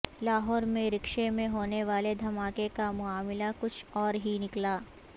لاہور میں رکشے میں ہونے والے دھماکے کا معاملہ کچھ اور ہی نکلا